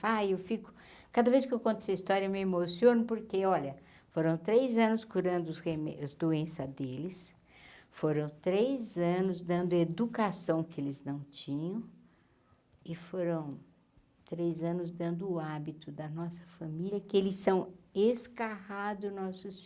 Fá, eu fico... Cada vez que eu conto essa história eu me emociono porque, olha, foram três anos curando os reme as doenças deles, foram três anos dando educação que eles não tinham e foram três anos dando o hábito da nossa família, que eles são escarrado nossos